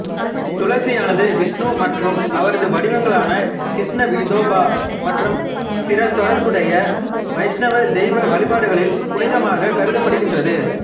துளசியானது விஷ்ணு மற்றும் அவரது வடிவங்களான கிருஷ்ண விதோபா மற்றும் பிற தொடர்புடைய வைஷ்ணவ தெய்வ வழிபாடுகளில் புனிதமாகக் கருதப்படுகின்றது